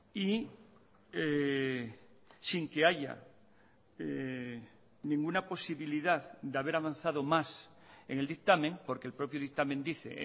y sin que haya ninguna posibilidad de haber avanzado más en el dictamen porque el propio dictamen dice